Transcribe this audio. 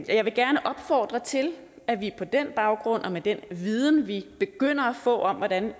jeg vil gerne opfordre til at vi på den baggrund og med den viden vi begynder at få om hvordan